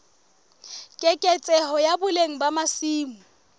keketseho ya boleng ba masimo